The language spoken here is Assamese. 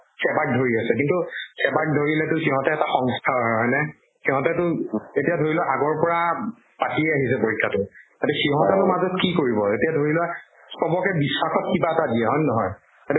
SEBA ক ধৰি আছে। কিন্তু SEBA ধৰিলেটো সিহঁত এটা সংস্থা হয়, হয়্নে? সিহঁতেটো এতিয়া ধৰি লোৱা আগৰ পৰা পাতি আছে পৰীক্ষা। তাতে সিহঁতৰ মাজত কি কৰিব। এতিয়া ধৰি লোৱা চবকে বিশ্বাসত কিবা এটা দিয়ে, হয় নে নহয়? সেইটো